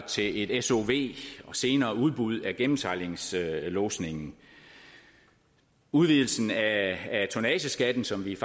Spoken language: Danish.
til et sov og senere udbud af gennemsejlingslodsningen udvidelsen af tonnageskatten som vi